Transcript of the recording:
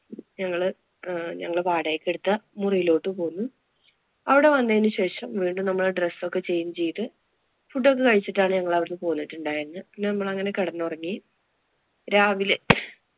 ഞങ്ങള് ആഹ് ഞങ്ങള് വാടകയ്ക്ക് എടുത്ത മുറിയിലോട്ട് പോയി. അവിടെ വന്നതിനു ശേഷം വീണ്ടും നമ്മള് dress ഒക്കെ change ചെയ്ത് food ഒക്കെ കഴിച്ചിട്ടാണ് ഞങ്ങള് അവിടുന്ന് പോന്നിട്ടുണ്ടായിരുന്നത്. പിന്നെ നമ്മള് അങ്ങനെ കെടന്നുറങ്ങി. രാവിലെ